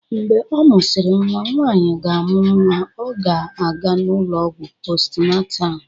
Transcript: Mgbe ọ mụsịrị nwa, nwanyị ga-amụ nwa ọ ga-aga n'ụlọọgwụ post natal